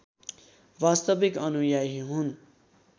वास्तविक अनुयायी हुन्